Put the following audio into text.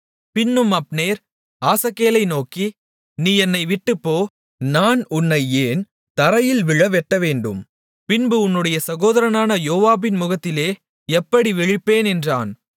பின்னும் அப்னேர் ஆசகேலை நோக்கி நீ என்னை விட்டுப்போ நான் உன்னை ஏன் தரையில் விழ வெட்டவேண்டும் பின்பு உன்னுடைய சகோதரனான யோவாபின் முகத்திலே எப்படி விழிப்பேன் என்றான்